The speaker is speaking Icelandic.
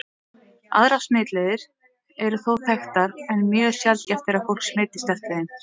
Aðrar smitleiðir eru þó þekktar, en mjög sjaldgæft er að fólk smitist eftir þeim.